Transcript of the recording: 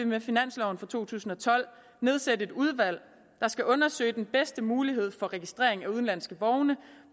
med finansloven for to tusind og tolv nedsætte et udvalg der skal undersøge hvad den bedste mulighed for registrering af udenlandske vogne